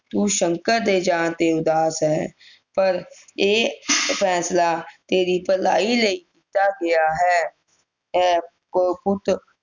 ਤੂੰ ਸ਼ੰਕਰ ਦੇ ਜਾਣ ਤੇ ਉਦਾਸ ਹੈਂ ਪਰ ਇਹ ਫੈਂਸਲਾ ਤੇਰੀ ਭਲਾਈ ਲਈ ਕੀਤਾ ਗਿਆ ਹੈ ਪੁੱਤ